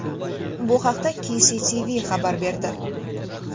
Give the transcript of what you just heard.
Bu haqda KCTV xabar berdi .